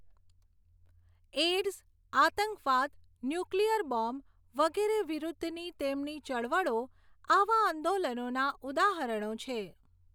AIDS, આંતકવાદ, nuclear bomb વગેરે વિરુદ્ધની તેમની ચળવળો આવાં આંદોલનોના ઉદાહરણો છે.